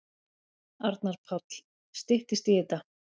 Arnar Páll: Styttist í þetta.